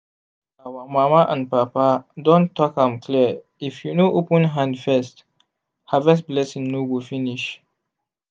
our mama and papa don talk am clear if you no open hand first harvest blessing no go finish.